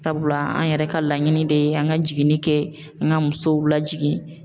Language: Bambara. Sabula an yɛrɛ ka laɲini de ye an ka jiginni kɛ, an ka musow lajigin.